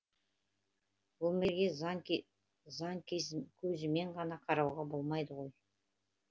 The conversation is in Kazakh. өмірге заң көзімен ғана қарауға болмайды ғой